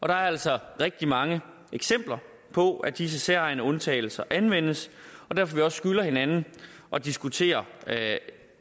der er altså rigtig mange eksempler på at disse særegne undtagelser anvendes og derfor skylder hinanden at diskutere